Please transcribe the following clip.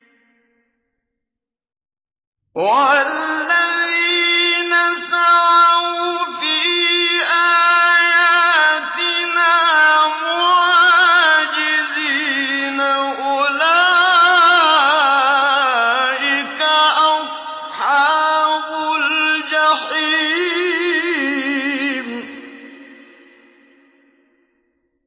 وَالَّذِينَ سَعَوْا فِي آيَاتِنَا مُعَاجِزِينَ أُولَٰئِكَ أَصْحَابُ الْجَحِيمِ